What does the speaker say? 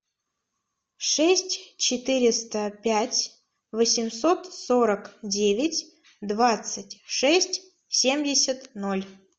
шесть четыреста пять восемьсот сорок девять двадцать шесть семьдесят ноль